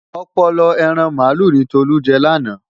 Ọpọlọ ẹran màálù ni Tolú jẹ lánàá.